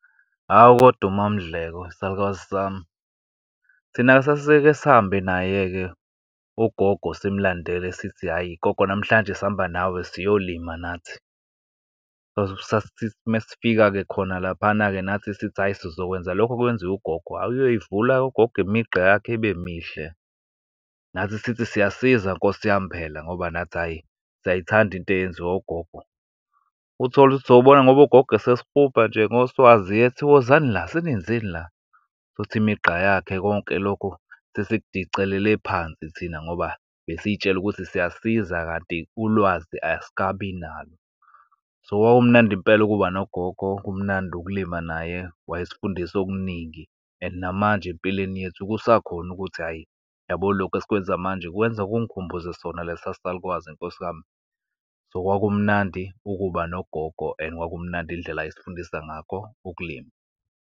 Hawu, kodwa uMaMndleko isalukazi sami. Thina sasike sihambe naye-ke ugogo simlandele sithi, hhayi gogo, namhlanje sihamba nawe, siyolima nathi. Sasithi uma sifika khona laphana-ke nathi, sithi hhayi sizokwenza lokho okwenziwa ugogo. Ayi uyoyivula ugogo imigqa yakhe, ibe mihle, nathi sithi siyasiza nkosi yami, phela ngoba nathi, hhayi siyayithanda into eyenziwa ogogo. Uthole ukuthi sobona ngoba ugogo esesihuba nje ngoswazi, ethi, wozani la, senenzani la, ukuthi imigqa yakhe konke lokho sesikudicelele phansi thina, ngoba besiyitshele ukuthi siyasiza, kanti ulwazi asikabi nalo. So, kwakumnandi impela ukuba nogogo, kumnandi ukulima naye, wayesifundisa okuningi and namanje empilweni yethu kusakhona ukuthi, hhayi yabo lokhu esikwenza manje kwenza kungikhumbuze sona lesa salukazi nkosi yami. So, kwakumnandi ukuba nogogo and kwakumnandi indlela ayesifundisa ngakho ukulima.